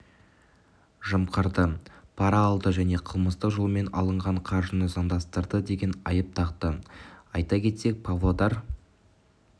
жымқырды пара алды және қылмыстық жолмен алынған қаржыны заңдастырды деген айып тақты айта кетсек павлодар